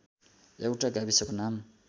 एउटा गाविसको नाम